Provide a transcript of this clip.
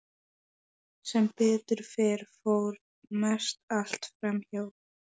Þú skalt engar myndir gera þér undir himninum, segir drottinn.